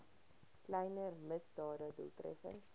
kleiner misdade doeltreffend